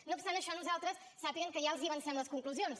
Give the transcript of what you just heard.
no obstant això nosaltres sàpiguen que ja els avancem les conclusions